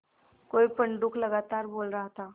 कोई पंडूक लगातार बोल रहा था